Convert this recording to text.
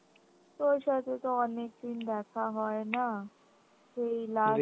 তোর সাথে তো অনেকদিন দেখা হয় না সেই last